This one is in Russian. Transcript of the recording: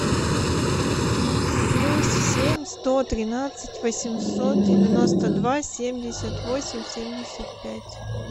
плюс семь сто тринадцать восемьсот девяносто два семьдесят восемь семьдесят пять